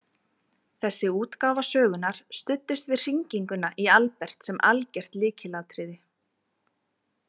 Þessi útgáfa sögunnar studdist við hringinguna í Albert sem algert lykilatriði.